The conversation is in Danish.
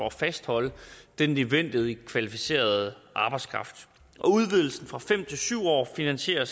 at fastholde den nødvendige kvalificerede arbejdskraft og udvidelsen fra fem til syv år finansierer